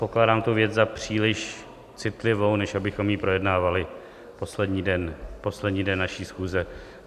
Pokládám tu věc za příliš citlivou, než abychom ji projednávali poslední den naší schůze.